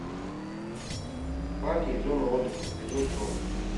парки и зоны отдыха эпизод сорок